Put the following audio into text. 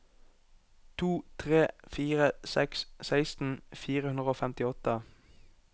to tre fire seks seksten fire hundre og femtiåtte